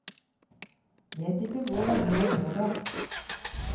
Vet ikke hvor lenge jeg lå der.